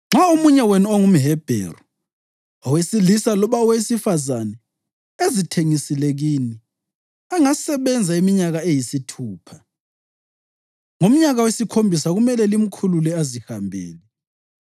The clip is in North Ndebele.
“Nxa omunye wenu ongumHebheru, owesilisa loba owesifazane, ezithengisile kini, angasebenza iminyaka eyisithupha, ngomnyaka wesikhombisa kumele limkhulule azihambele.